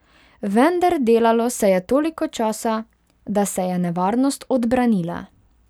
Vender delalo se je toliko časa, da se je nevarnost odbranila.